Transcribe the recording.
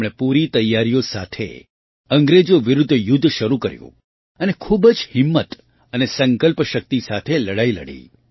તેમણે પૂરી તૈયારીઓ સાથે અંગ્રેજો વિરુદ્ધ યુદ્ધ શરૂ કર્યું અને ખૂબ જ હિંમત અને સંકલ્પ શક્તિ સાથે લડાઈ લડી